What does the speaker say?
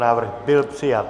Návrh byl přijat.